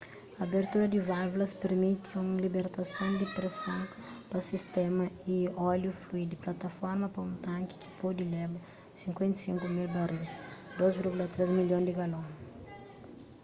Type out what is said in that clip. abertura di válvulas permiti un libertason di preson pa sistéma y óliu flui di plataforma pa un tanki ki pode leba 55,000 baril 2,3 milhon di galon